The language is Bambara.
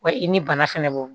Wa i ni bana fɛnɛ bo